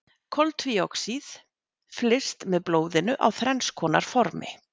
Koltvíoxíð flyst með blóðinu á þrenns konar formi.